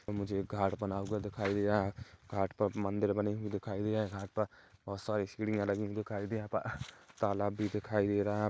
मुझे एक घाट बना हुआ दिखा दे रहा हैं घाट पर मंदिर बने हुए दिखाई दे रहे हैं घाट पर औ सॉरी सीढियाँ लगी हुई दिखाई दिए यहाँ पर तालाब भी दिखाई दे रहा है यहाँ पर--